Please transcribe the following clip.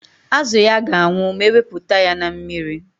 Azụ ya ga-anwụ ma ewepụta ya na mmiri.